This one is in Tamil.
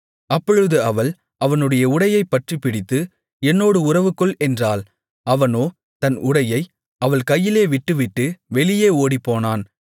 அப்பொழுது அவள் அவனுடைய உடையைப் பற்றிப் பிடித்து என்னோடு உறவுகொள் என்றாள் அவனோ தன் உடையை அவள் கையிலே விட்டுவிட்டு வெளியே ஓடிப்போனான்